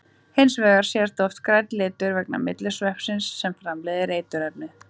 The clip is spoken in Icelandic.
Hins vegar sést oft grænn litur vegna myglusveppsins sem framleiðir eiturefnið.